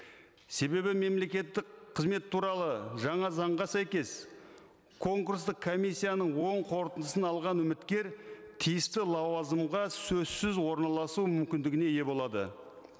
себебі мемлекеттік қызмет туралы жаңа заңға сәйкес конкурстық комиссияның оң қортындысын алған үміткер тиісті лауазымға сөзсіз орналасу мүмкіндігіне ие болады